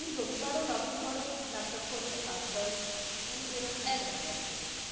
তুমি রবিবারেও login করো laptop খোলো কাজ করো মানে রকম একটা ব্যাপার ছিল।